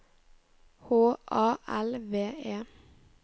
H A L V E